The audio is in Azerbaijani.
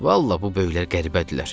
Vallah bu böyüklər qəribədirlər.